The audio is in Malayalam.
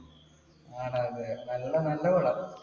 ആണ് അതെ, നല്ല, നല്ല പടം.